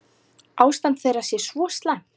Ástand þeirra sé svo slæmt.